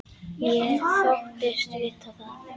Ég þóttist vita það.